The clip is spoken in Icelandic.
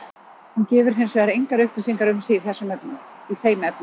Hún gefur hins vegar engar upplýsingar um sig í þeim efnum.